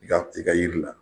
I ka i ka jiri la